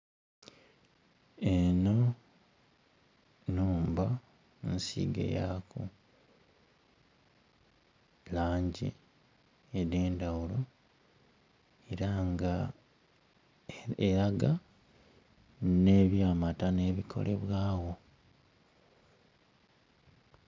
Eno numba nsige yaku langi ede ndhaghulo era nga eraga ne bya matano ebikolebwagho.